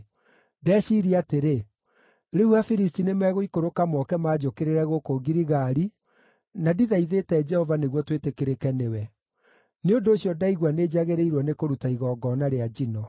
ndeciiria atĩrĩ, ‘Rĩu Afilisti nĩmegũikũrũka moke manjũkĩrĩre gũkũ Giligali, na ndithaithĩte Jehova nĩguo twĩtĩkĩrĩke nĩwe.’ Nĩ ũndũ ũcio ndaigua nĩnjagĩrĩirwo nĩkũruta igongona rĩa njino.”